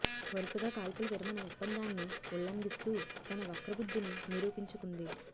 వరుసగా కాల్పుల విరమణ ఒప్పందాన్ని ఉల్లంఘిస్తూ తన వక్రబుద్ధిని నిరూపించుకుంది